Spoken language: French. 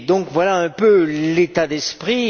Voilà un peu l'état d'esprit.